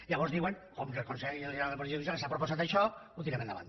llavors diuen com que el consell general del poder judicial ens ha proposat això ho tirem endavant